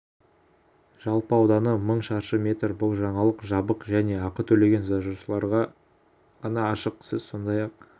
жалпы ауданы мың шаршы метр бұл жаңалық жабық және ақы төлеген жазылушыларға ғана ашық сіз сондай-ақ